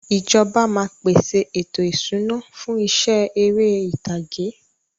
Ìjọba máa peṣe ètò ìṣúná fún iṣẹ́ ère ìtàgé.